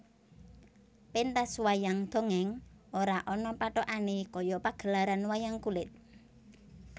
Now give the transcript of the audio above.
Pentas wayang dongèng ora ana pathokane kaya pagelaran wayang kulit